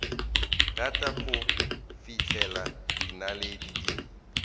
rata go fihlela dinaledi di